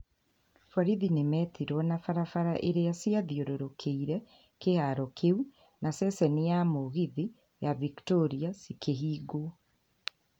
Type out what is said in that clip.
Borithi nĩ metirwo na barabara irĩa ciathiũrũrũkĩirie kĩharo kĩu na ceceni ya mũgithi ya Victoria cikĩhingwo.